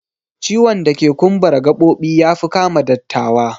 Ciwon dake kumbara gabobi yafi kama dattawa